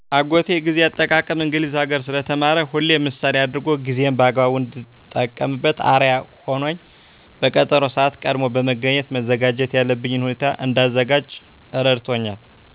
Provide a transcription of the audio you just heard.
አጎቴ ጊዜ አጠቃቀም እንግሊዝ ሀገር ስለተማረ ሁሌም ምሣሌ አድርጎ ጊዜየን በአግባቡ እንድጠቀምበት አርያ ሁኖኝ በቀጠሮ ስዓት ቀድሞ በመገኘት መዘጋጀት ያለብኝን ሁኔታ እንዳዘጋጅ እረድቶኛል